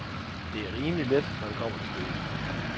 Det er rimelig let, når det kommer til stykket.